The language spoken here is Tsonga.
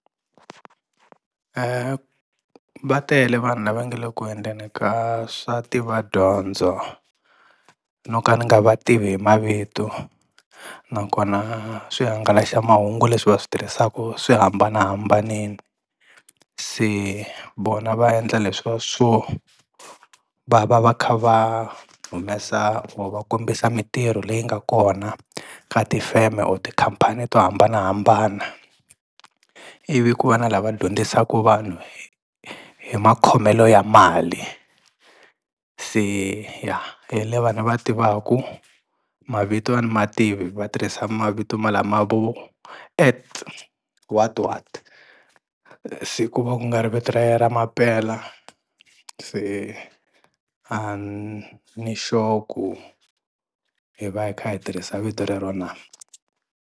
Va tele vanhu lava nga le ku endleni ka swa tivadyondzo no ka ni nga va tivi hi mavito, nakona swihangalaxamahungu leswi va swi tirhisaku swi hambanahambanile. Se vona va endla leswiya swo va va va kha va humesa or va kombisa mintirho leyi nga kona ka tifeme or tikhampani to hambanahambana ivi ku va na lava dyondzisaka vanhu hi makhomelo ya mali. Se ya hi lava ni va tivaku, mavito a ni ma tivi va tirhisa mavito malama vo at what what se ku va ku nga ri vito ra ye ra mampela se a ni sure ku hi va hi kha hi tirhisa vito rero na.